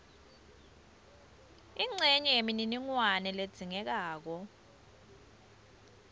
incenye yemininingwane ledzingekako